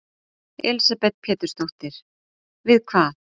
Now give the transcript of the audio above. Elísabet Pétursdóttir: Við hvað?